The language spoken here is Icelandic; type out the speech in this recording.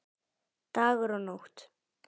Dagur og Nótt.